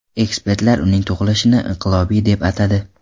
Ekspertlar uning tug‘ilishini inqilobiy deb atadi.